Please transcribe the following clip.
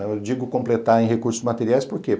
Eu digo completar em recursos materiais por quê?